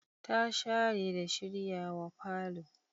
Ta share da shiryawa falo.